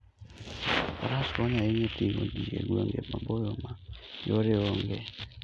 Faras konyo ahinya e ting'o ji e gwenge maboyo ma yore onge.